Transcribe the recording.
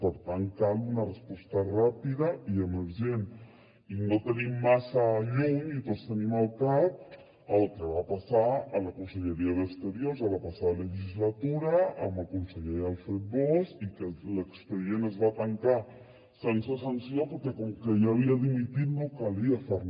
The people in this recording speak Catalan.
per tant cal una resposta ràpida i emergent i no tenim massa lluny i tots ho tenim al cap el que va passar a la conselleria d’exteriors a la passada legislatura amb el conseller alfred bosch i que l’expedient es va tancar sense sanció perquè com que hi havia dimitit no calia fer re